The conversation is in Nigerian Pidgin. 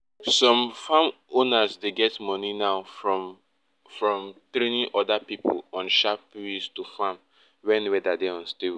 some farm owners dey get money now from from training other people on ways to farm when weather dey unstable